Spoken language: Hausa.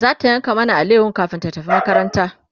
zata yanka mana alayahon kamin ta tafi makaranta